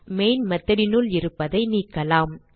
முதலில் main method னுள் இருப்பதை நீக்கலாம்